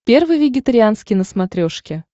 первый вегетарианский на смотрешке